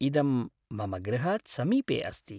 इदं मम गृहात् समीपे अस्ति